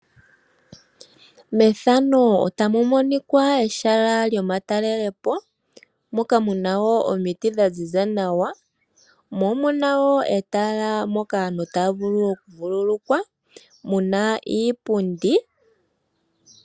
Methano otamu monika ehala lyomatalelopo moka muna woo omiti dhaziza nawa mo omuna woo etala Moka aantu taavulu okuvululukwa omuna iipundi .